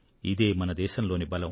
ఇదే మన దేశంలోని బలం